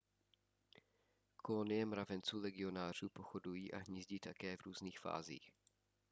kolonie mravenců legionářů pochodují a hnízdí také v různých fázích